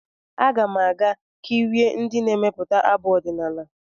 Aga m aga kirie ndị na-emepụta abụ ọdịnala.